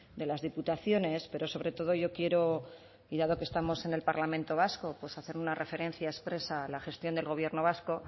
de las diputaciones pero sobre todo yo quiero y dado que estamos en el parlamento vasco pues hacer una referencia expresa a la gestión del gobierno vasco